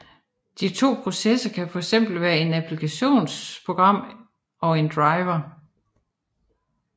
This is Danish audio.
De to processer kan fx være et applikationsprogram og en driver